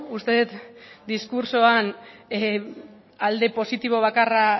uste dut diskurtsoan alde positibo bakarra